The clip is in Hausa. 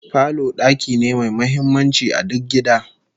Falo daki ne mai muhimmanci a duk gida